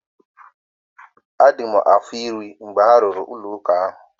A dị m afọ iri mgbe a rụrụ ụlọ ụka ahụ.